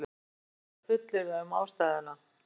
erfitt er að fullyrða um ástæðuna